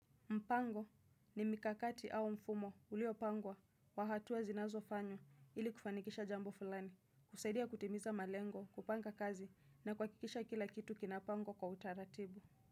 Mpango ni mikakati au mfumo uliopangwa kwa hatua zinazofanywa ili kufanikisha jambo fulani, husaidia kutimiza malengo, kupanga kazi na kuhakikisha kila kitu kinapangwa kwa utaratibu.